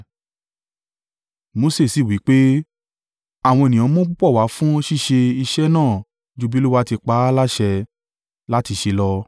Mose sì wí pé, “Àwọn ènìyàn mú púpọ̀ wá fún ṣíṣe iṣẹ́ náà ju bi Olúwa ti pa á láṣẹ láti ṣe lọ.”